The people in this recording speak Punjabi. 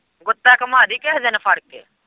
ਗੁੱਤਾਂ ਘੁੰਮਾਂ ਦੀ ਕਿਹੇ ਦਿਨ ਫੜ ਕੇ।